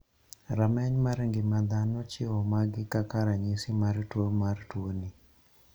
Rameny mar ng'ima dhano chiwo magi kaka ranyisi mar tuo mar tuo ni.